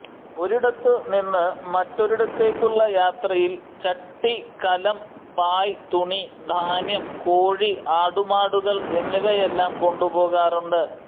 ഒരിടത്തു നിന്നു മറ്റൊരിടത്തേക്കുള്ള യാത്രയിൽ ചട്ടി കലം പായ് തുണി ധാന്യം കോഴി ആടുമാടുകൾ എന്നിവയെല്ലാം കൊണ്ടുപോകാറുണ്ട്